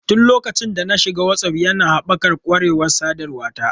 Tun lokacin da na shiga Whatsapp, yana haɓaka ƙwarewar sadarwa ta.